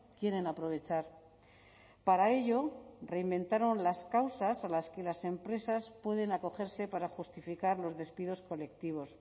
quieren aprovechar para ello reinventaron las causas a las que las empresas pueden acogerse para justificar los despidos colectivos